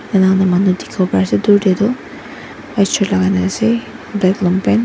manu dikhiwo pariase dhur teh tu white shirt lagaina ase black long pant .